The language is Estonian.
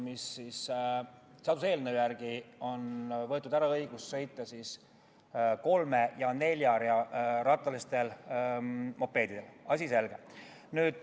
Seaduseelnõu järgi on võetud ära õigus sõita kolme- ja neljarattaliste mopeedidega, asi selge.